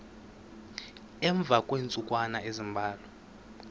emva kweentsukwana ezimbalwa